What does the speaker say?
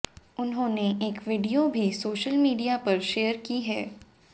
उन्होंने एक वीडियो भी सोशल मीडिया पर शेयर की है